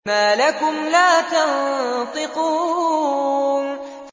مَا لَكُمْ لَا تَنطِقُونَ